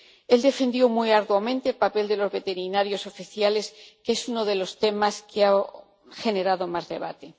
Él defendió muy arduamente el papel de los veterinarios oficiales, que es uno de los temas que han generado más debate.